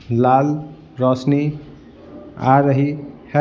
लाल रोशनी आ रही है।